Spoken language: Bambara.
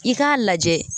I k'a lajɛ